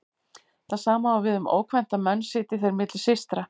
Það sama á við um ókvænta menn sitji þeir milli systra.